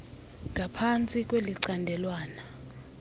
h ngaphansti kwelicandelwana